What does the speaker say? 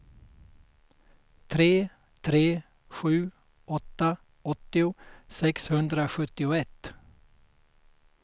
tre tre sju åtta åttio sexhundrasjuttioett